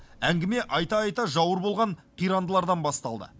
әңгіме айта айта жауыр болған қирандылардан басталды